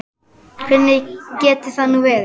Hvernig getur það nú verið?